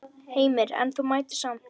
Heimir: En þú mættir samt?